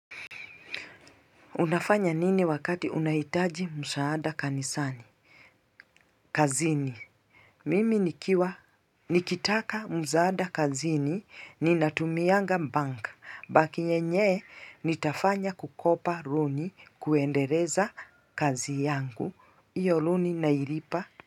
Unafanya nini wakati unahitaji msaada kanisani? Kazini. Mimi nikitaka msaada kazini natumianga benki. Benki yenye nitafanya kukopa loni kuendeleza kazi yangu. Hiyo loni nailipa.